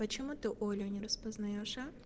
почему ты олю не распознаёшь а